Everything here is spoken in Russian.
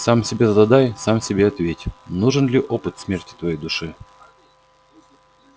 сам себе загадай сам себе ответь нужен ли опыт смерти твоей душе